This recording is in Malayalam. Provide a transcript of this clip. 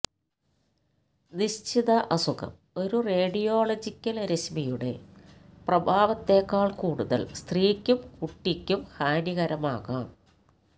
നിശ്ചിത അസുഖം ഒരു റേഡിയോളജിക്കൽ രശ്മിയുടെ പ്രഭാവത്തെക്കാൾ കൂടുതൽ സ്ത്രീക്കും കുട്ടിക്കും ഹാനികരമാകാം